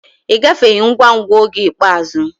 Ị gafeghị ngwa ngwa oge ikpeazụ.